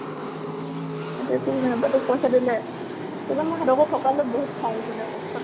আইতাই তোৰ তোক পইছা দিলে? বহুত খং ওঠে দে।